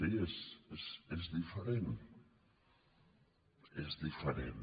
sí és diferent és diferent